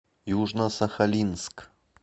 южно сахалинск